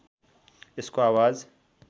यसको आवाज